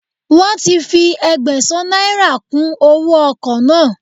Wọn ti fi Ẹgbẹ̀sán náírà kùn owóo ọkọ̀ náà.